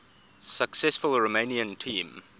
successful romanian team